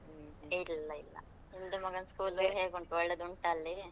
ಇಲ್ಲ ಇಲ್ಲ, ನಿಮ್ದು ಮಗನ school ಹೇಗುಂಟು, ಒಳ್ಳೆದುಂಟಾ ಅಲ್ಲಿ?